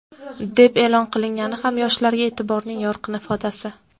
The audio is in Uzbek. deb e’lon qilingani ham yoshlarga e’tiborning yorqin ifodasi.